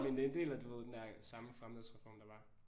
Men det er en del af du ved den der samme fremledsreform der var